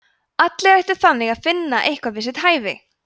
allir ættu þannig að finna eitthvað við sitt hæfi!